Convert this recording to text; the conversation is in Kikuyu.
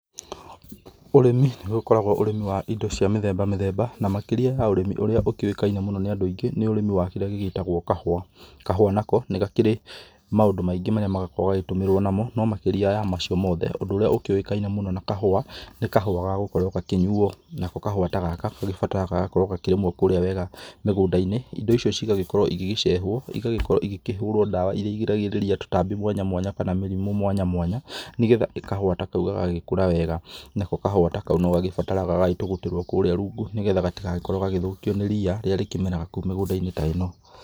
Ũrĩmi nĩ ũgĩkoragwo ũrĩmi wa indo cia mĩthemba mĩthemba na makĩria ya ũrĩmi ũraĩ ũkĩoĩkaine mũno nĩ andũ aingĩ nĩ ũrĩmi wa kĩrĩa gĩgĩtagwo kahũa, kahũa nako nĩgakĩrĩ maũndũ maingĩ marĩa marakorwo magĩtũmirwo namo no makĩrĩa ya macio mothe ũndũ ũrĩa ũkĩoikaine na kahũa nĩ kahũa gagũkorwo gakĩnyũo ,nako kahũa ta gaka nĩ gabataraga gũkorwo gakĩnyuo kũrĩa wega mũgũnda-inĩ indo icio cigagĩkorwo cigĩcehwo na igakorwo ikĩhũra dawa ĩrĩa igĩragĩrĩria tũtambi mwanya mwanya kana mĩrimũ mwanya mwanya ,nĩgetha kahũa ta kaũ gagagĩkora wega, nako kahũa ta kaũ no gagĩbataragagagagĩtũgũtĩrwo kũrĩa rungu nĩgetha gatigagĩkorwo gagĩthokio nĩ rĩa rĩrĩa rĩkĩmeraga kũu mũgũnda-inĩ ta ĩno.